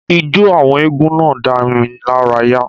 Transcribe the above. Ijó àwọn eégún náà dá mi lára yà